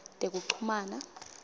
tekuchumana